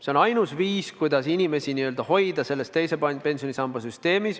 See on ainus viis, kuidas inimesi hoida selles teise pensionisamba süsteemis.